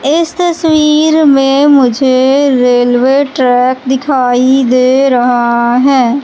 इस तस्वीर में मुझे रेलवे ट्रैक दिखाई दे रहा है।